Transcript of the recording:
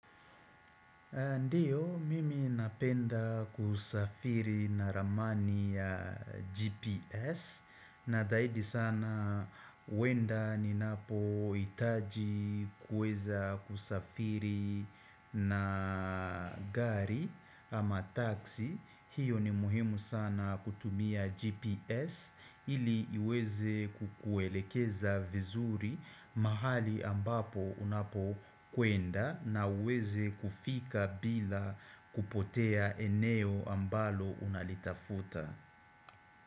Ndiyo, mimi napenda kusafiri na ramani ya GPS na zaidi sana uenda ninapohitaji kuweza kusafiri na gari ama taxi. Hiyo ni muhimu sana kutumia GPS ili iweze kukuelekeza vizuri mahali ambapo unapo kwenda na uweze kufika bila kupotea eneo ambalo unalitafuta.